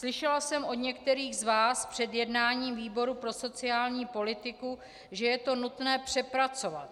Slyšela jsem od některých z vás před jednáním výboru pro sociální politiku, že je to nutné přepracovat.